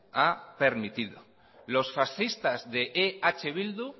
ha permitido los fascistas de eh bildu